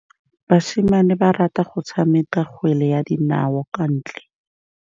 Basimane ba rata go tshameka kgwele ya dinaô kwa ntle.